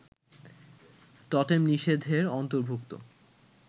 টোটেম-নিষেধের অন্তর্ভূক্ত